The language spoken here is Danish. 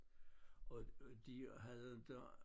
Og og de havde inte